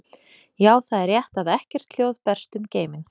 Já, það er rétt að ekkert hljóð berst um geiminn.